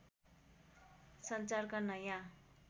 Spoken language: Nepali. सञ्चारका नयाँ